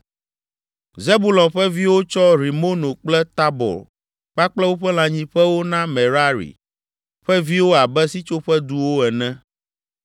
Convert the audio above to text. Zebulon ƒe viwo tsɔ Rimono kple Tabor kpakple woƒe lãnyiƒewo na Merari ƒe viwo abe Sitsoƒeduwo ene.